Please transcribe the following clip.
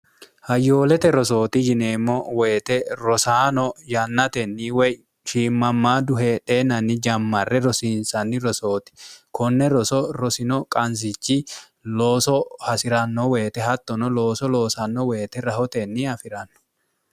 hayyoolete rosooti yineemmo woyite rosaano yannatenni woy shiimmammaa du heedheennanni jammarre rosiinsanni rosooti konne roso rosino qansichi looso hasi'ranno woyite hattono looso loosanno woyite rahotenni afi'ranno